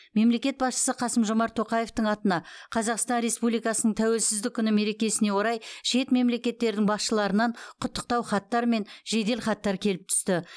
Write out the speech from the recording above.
мемлекет басшысы қасым жомарт тоқаевтың атына қазақстан республикасының тәуелсіздік күні мерекесіне орай шет мемлекеттердің басшыларынан құттықтау хаттар мен жеделхаттар келіп түсті